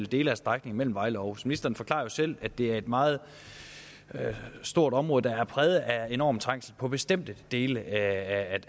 dele af strækningen mellem vejle og århus ministeren forklarer jo selv at det er et meget stort område der er præget af enorm trængsel på bestemte dele af